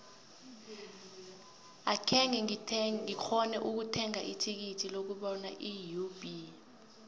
akhenge ngikghone ukuthenga ithikithi lokubona iub